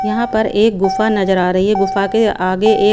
यहां पर एक गुफा नजर आ रही है गुफा के आगे ए--